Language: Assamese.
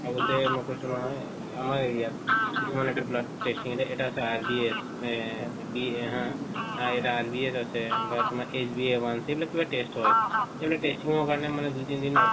আগতে মই কৈছো নহয় আমাৰ area ত testing কিছুমান এলাকাত testing এটা আছে RBS মানে BA হা এটা RBS আছে বা তোমাৰ sba1 এইবিলাক test হয় এইবিলাক testing ৰ কাৰনে মানে দুই তিন দিন